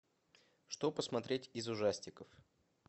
что посмотреть из ужастиков